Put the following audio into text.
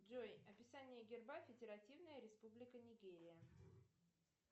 джой описание герба федеративная республика нигерия